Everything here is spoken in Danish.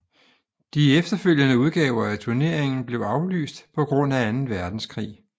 De efterfølgende udgaver af turneringen blev aflyst på grund af anden verdenskrig